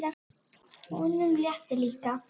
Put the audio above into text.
Honum létti líka.